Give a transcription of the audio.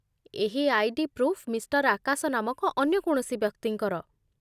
ଏହି ID. Proof mister Akash ନାମକ ଅନ୍ୟ କୌଣସି ବ୍ୟକ୍ତିଙ୍କର